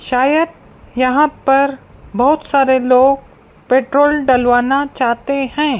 शायद यहां पर बहुत सारे लोग पेट्रोल डलवाना चाहते हैं।